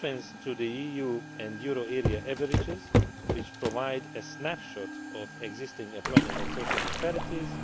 the difference against the EU and euro area averages, which provides a snapshot of existing employment and social disparities